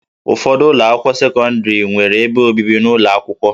Ụfọdụ ụlọ akwụkwọ sekọndrị nwere ebe obibi ụlọ akwụkwọ